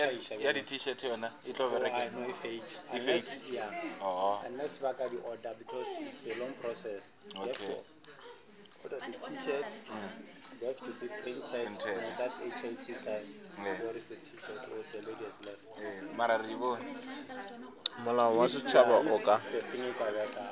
molao wa setšhaba o ka